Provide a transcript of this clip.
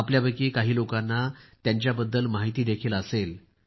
आपल्यातील काही लोकांना त्यांच्याबद्दल माहित देखील असेल